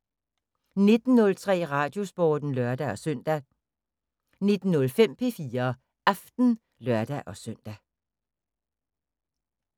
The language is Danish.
19:03: Radiosporten (lør-søn) 19:05: P4 Aften (lør-søn)